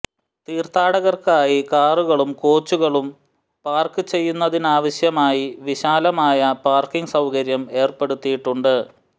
തീര്ത്ഥാടകര്ക്കായി കാറുകളും കോച്ചുകളും പാര്ക്ക് ചെയ്യുന്നതിനാവശ്യമായി വിശാലമായ പാര്ക്കിങ് സൌകര്യം ഏര്പ്പെടുത്തിയിട്ടുണ്ട്